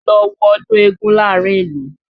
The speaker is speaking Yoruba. Lọ wo ọdún eégún láàrín ìlú!